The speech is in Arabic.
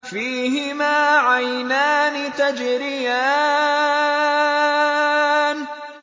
فِيهِمَا عَيْنَانِ تَجْرِيَانِ